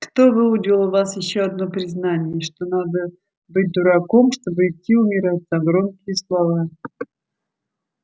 кто выудил у вас ещё одно признание что надо быть дураком чтобы идти умирать за громкие слова